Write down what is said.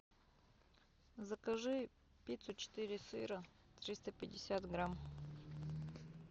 закажи пиццу четыре сыра триста пятьдесят грамм